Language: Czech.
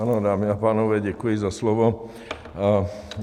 Ano, dámy a pánové, děkuji za slovo.